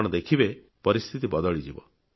ଆପଣ ଦେଖିବେ ପରିସ୍ଥିତି ବଦଳିଯିବ